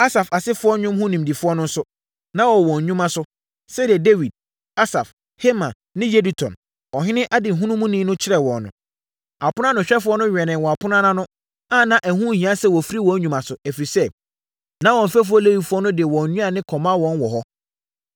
Asaf asefoɔ nnwom ho nimdefoɔ no nso, na wɔwɔ wɔn nnwuma so, sɛdeɛ Dawid, Asaf, Heman ne Yedutun, ɔhene adehunumuni no kyerɛɛ wɔn no. Aponoanohwɛfoɔ no wɛnee apono no a na ɛho nhia sɛ wɔfiri wɔn nnwuma so, ɛfiri sɛ, na wɔn mfɛfoɔ Lewifoɔ no de wɔn nnuane kɔma wɔn wɔ hɔ.